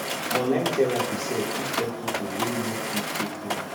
online therapy sef fit help pipo wey no fit go clinic